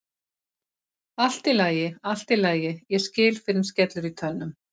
Allt í lagi, allt í lagi, ég skil fyrr en skellur í tönnum.